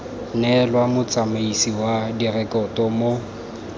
neelwa motsamaisi wa direkoto mo